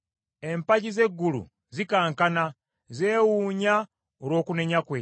Empagi z’eggulu zikankana, zeewuunya olw’okunenya kwe.